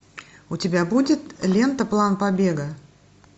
у тебя будет лента план побега